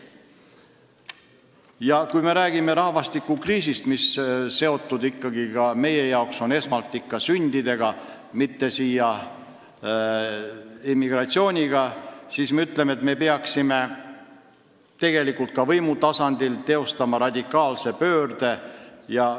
Ja kui me räägime rahvastikukriisist, mis on meie jaoks esmalt seotud ikkagi sündidega, mitte immigratsiooniga, siis me peaksime tegelikult ka võimu tasandil radikaalse pöörde teostama.